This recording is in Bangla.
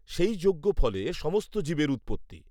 সেই যজ্ঞফলে সমস্ত জীবের উৎপত্তি